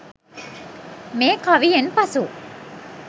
මේ කවියෙන් පසු